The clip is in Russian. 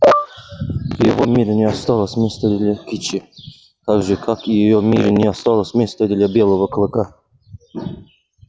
в его мире не осталось места для кичи так же как и в её мире не осталось места для белого клыка